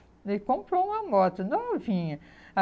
Ele comprou uma moto novinha.